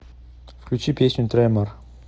включи песню тремор